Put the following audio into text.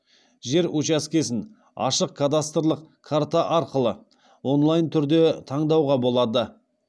жер уачаскесін ашық кадастрлық карта арқылы онлайн түрде таңдауға болады